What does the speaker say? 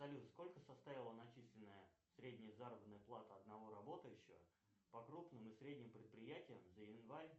салют сколько составила начисленная средняя заработная плата одного работающего по крупным и средним предприятиям за январь